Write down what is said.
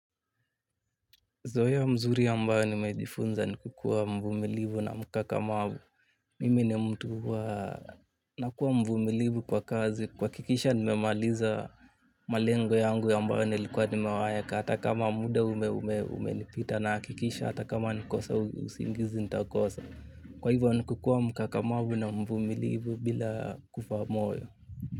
Zoya mzuri mbayo nimejifunza ni kukua mvumilibu na mkakamabu. Mimi ni mtu wa nakuwa mvumilibu kwa kazi. Kuhakikisha nimemaliza malengo yangu ambayo nilikuwa nimeyaweka. Hata kama muda ume umenipita nahakikisha hata kama ni kukosa usingizi nitakosa. Kwa hivyo ni kukua mkakamavu na mvumilivu bila kufa moyo.